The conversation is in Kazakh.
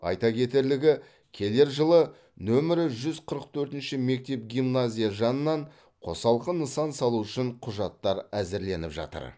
айта кетерлігі келер жылы нөмірі қырық төртінші мектеп гимназия жанынан қосалқы нысан салу үшін құжаттар әзірленіп жатыр